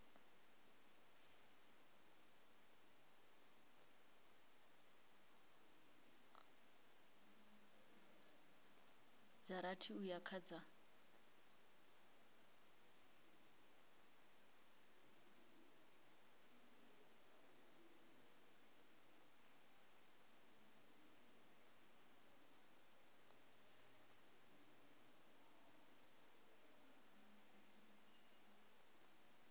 dza rathi uya kha dza